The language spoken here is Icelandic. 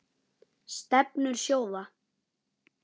Stefnur sjóða